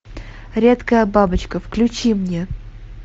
редкая бабочка включи мне